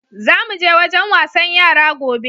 Za mu je wajen wasan yara gobe.